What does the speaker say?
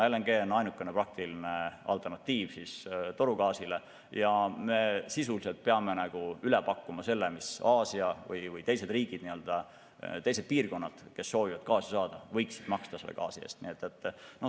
LNG on ainukene praktiline alternatiiv torugaasile ja sisuliselt me peame nagu üle pakkuma hinna, mida Aasia või teised riigid, teised piirkonnad, kes soovivad gaasi saada, võiksid selle eest maksta.